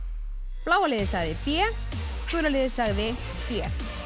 bláa liðið sagði b gula liðið sagði b